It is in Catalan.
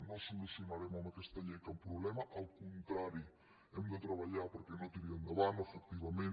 no solucionarem amb aquesta llei cap problema al contrari hem de treballar perquè no tiri endavant efectivament